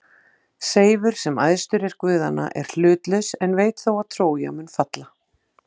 Seifur, sem æðstur er guðanna, er hlutlaus en veit þó að Trója mun falla.